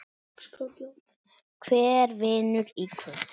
Hver vinnur í kvöld?